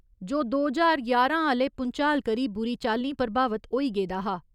जो दो ज्हार ञारां आह्‌ले भूंचाल करी बुरी चाल्लीं प्रभावित होई गेदा हा।